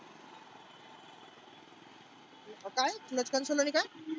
काय clutch console आणि काय?